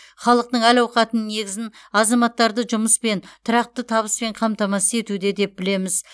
халықтың әл ауқатының негізін азаматтарды жұмыспен тұрақты табыспен қамтамасыз етуде деп білеміз